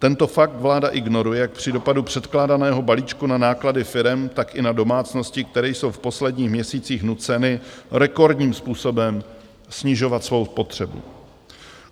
Tento fakt vláda ignoruje jak při dopadu předkládaného balíčku na náklady firem, tak i na domácnosti, které jsou v posledních měsících nuceny rekordním způsobem snižovat svou spotřebu.